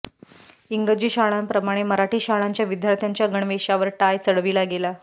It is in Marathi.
इंग्रजी शाळांप्रमाणे मराठी शाळांच्या विद्यार्थ्यांच्या गणवेशावर टाय चढविला गेला